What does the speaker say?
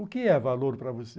O que é valor para você?